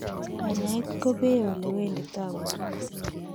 Kanyaet ko pee ole wenditoi porto